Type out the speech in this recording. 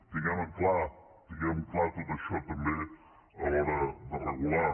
tinguem clar tinguem clar tot això també a l’hora de regular